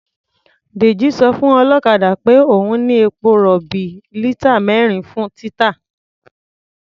Dèjì sọ fún ọlọ́kadà peh òun ní epo-rọ̀bì lítà mẹ́rin fún títà.